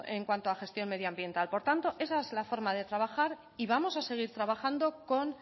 en cuanto a gestión medioambiental por tanto esa es la forma de trabajar y vamos a seguir trabajando con